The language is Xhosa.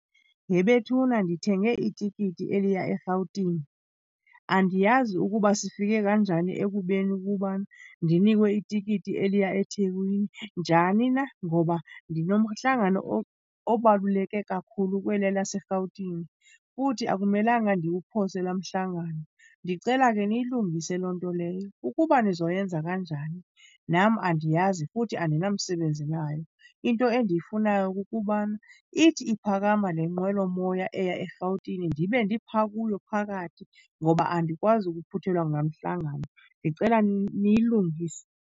He bethuna! Ndithenge itikiti eliya eRhawutini. Andiyazi ukuba sifike kanjani ekubeni ukubana ndinikwe itikiti eliya eThekwini. Njani na? Ngoba ndinomhlangano obaluleke kakhulu kweliya laseRhawutini futhi akumelanga ndiwuphose laa mhlangano. Ndicela ke niyilungise loo nto leyo. Ukuba nizoyenza kanjani, nam andiyazi futhi andinamsebenzi nayo. Into endiyifunayo kukubana ithi iphakama le nqwelomoya eya eRhawutini ndibe ndipha kuyo phakathi ngoba andikwazi ukuphuthelwa ngulaa mhlangano. Ndicela niyilungise.